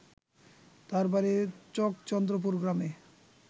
তার বাড়ি চকচন্দ্রপুর গ্রামে